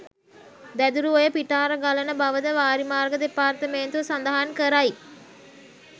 දැදුරුඔය පිටාර ගලන බවද වාරිමාර්ග දෙපාර්තමේන්තුව සඳහන් කරයි